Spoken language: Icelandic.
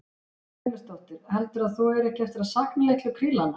Guðrún Heimisdóttir: Heldur þú að þú eigir ekki eftir að sakna litlu krílanna?